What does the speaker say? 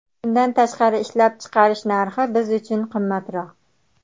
Bundan tashqari, ishlab chiqarish narxi biz uchun qimmatroq.